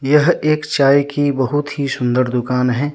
यह एक चाय की बहुत ही सुंदर दुकान है।